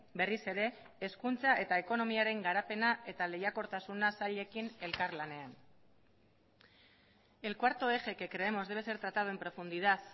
berriz ere hezkuntza eta ekonomiaren garapena eta lehiakortasuna sailekin elkarlanean el cuarto eje que creemos debe ser tratado en profundidad